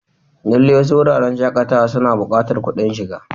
Lallai, wasu wuraren shakatawa suna buƙatar kuɗin shiga.